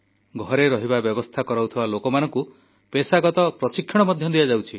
ଘରେ ରହିବା ବ୍ୟବସ୍ଥା କରାଉଥିବା ଲୋକମାନଙ୍କୁ ପେସାଗତ ପ୍ରଶିକ୍ଷଣ ମଧ୍ୟ ଦିଆଯାଉଛି